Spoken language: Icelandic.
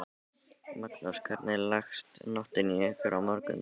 Magnús: Hvernig leggst nóttin í ykkur og morgundagurinn?